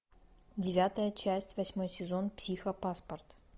девятая часть восьмой сезон психопаспорт